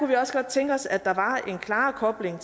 vi også godt tænke os at der var en klarere kobling